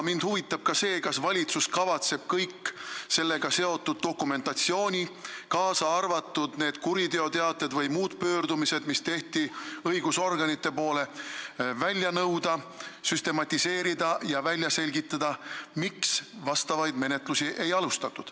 Mind huvitab ka see, kas valitsus kavatseb kogu sellega seotud dokumentatsiooni, kaasa arvatud kuriteoteated või muud pöördumised, mis tehti õigusorganite poole, välja nõuda, süstematiseerida ja välja selgitada, miks vajalikke menetlusi ei alustatud.